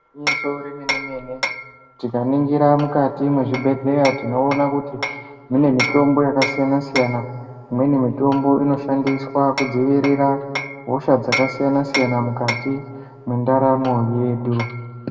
Igwinyiso remene-mene, tikaningira mukati mwezvibhedhleya tinoona kuti, mune mitombo yakasiyana-siyana .Imweni mitombo inoshandiswa kudziirira, hosha dzakasiyana-siyana mukati, mwendaramo yedu.